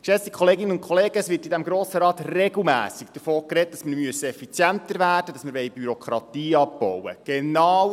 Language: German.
Geschätzte Kolleginnen und Kollegen, es wird in diesem Grossen Rat regelmässig davon gesprochen, dass wir effizienter werden müssen und Bürokratie abbauen sollen.